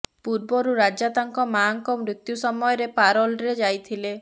ପୂର୍ବରୁ ରାଜା ତାଙ୍କ ମାଆଙ୍କ ମୃତ୍ୟୁ ସମୟରେ ପାରୋଲରେ ଯାଇଥିଲେ